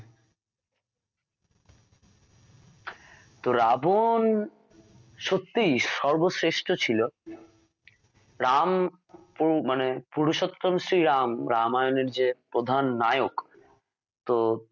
তো রাবন সত্যিই সর্বশ্রেষ্ঠ ছিল রাম পু মানে পুরুষোত্তম শ্রী রাম রামায়ণ এর যে প্রধান নায়ক তো